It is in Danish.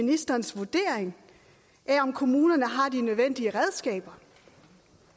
ministerens vurdering af om kommunerne har de nødvendige redskaber